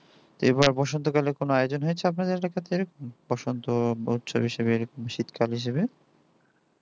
এবার বসন্তকালে কোনো আয়োজন হয়েছে আপনাদের বসন্ত বছরের শেষ শীতকাল হিসাবে